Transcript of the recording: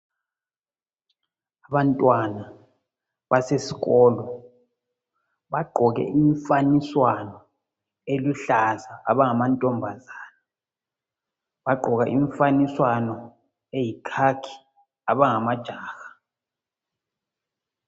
Ngabantwana basesikolo bagqoke imifaniswano eluhlaza abangamantombazane bagqoka imifaniswano eyikhakhi abangamajaha.